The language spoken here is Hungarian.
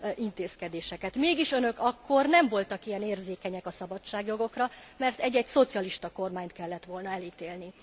intézkedéseket, mégis, önök akkor nem voltak ilyen érzékenyek a szabadságjogokra, mert egy egy szocialista kormányt kellett volna elítélni.